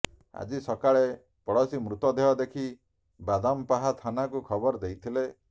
ଆଜି ସକାଳେ ପଡ଼ୋଶୀ ମୃତଦେହ ଦେଖି ବାଦାମପାହା ଥାନାକୁ ଖବର ଦେଇଥିଲେ